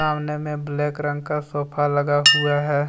सामने में ब्लैक रंग का सोफा लगा हुआ है।